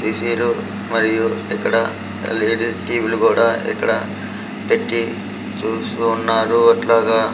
ఏ_సిలు మరియు ఇక్కడ యల్_ఈ_డి టీ_వీలు కూడా ఇక్కడ పెట్టి చూపిస్తూ వున్నారు అట్లాగ.